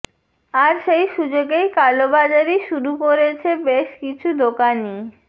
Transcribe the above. আর সেই সুযোগেই কালোবাজারি শুরু করেছে বেশ কিছু দোকানি